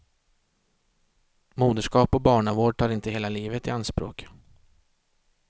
Moderskap och barnavård tar inte hela livet i anspråk.